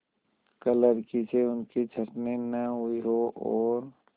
क्लर्की से उनकी छँटनी न हुई हो और